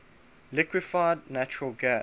liquefied natural gas